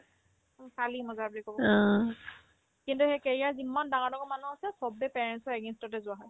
খালি মজা বুলি ক'ব কিন্তু সেই career যিম্মান ডাঙৰ ডাঙৰ মানুহ আছে চব্বে parents ৰ against তে যোৱা হয়